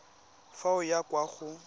fa o ya kwa go